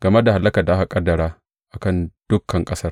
game da hallakar da aka ƙaddara a kan dukan ƙasar.